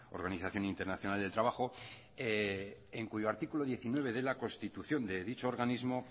organización internacional del trabajo en cuyo artículo diecinueve de la constitución de dicho organismo